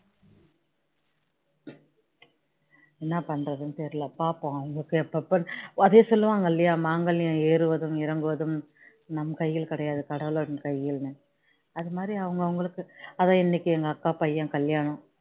என்ன பண்றதுன்னு தெரியல பார்ப்போம் அவங்களுக்கு எப்ப எப்ப அதான் சொல்லுவாங்க இல்லையா மாங்கல்யம் ஏறுவது இறங்குவதும் நம் கையில் கிடையாது கடவளுடைய கையில்னு அந்த மாதிரி அவங்க அவங்களுக்கு அதான் இன்னைக்கு எங்க அக்கா பையன் கல்யாணம்